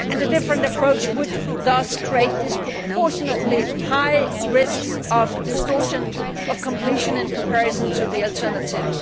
Adopting a different approach would thus create disproportionately high risks of distortion of competition in comparison to the alternative.